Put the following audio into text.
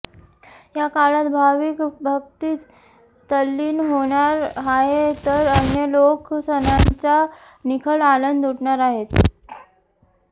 या काळात भाविक भक्तीत तल्लीन होणार आहेत तर अन्य लोक सणांचा निखळ आनंद लुटणार आहेत